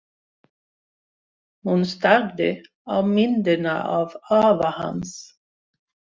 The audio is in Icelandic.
Hún starði á myndina af afa hans.